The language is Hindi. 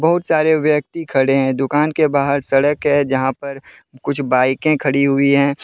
बहुत सारे व्यक्ति खड़े हैं। दुकान के बाहर सड़क हैजहां पर कुछ बाईकें खड़ी हुई हैं।